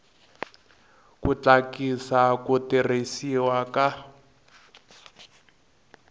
ku tlakusa ku tirhisiwa ka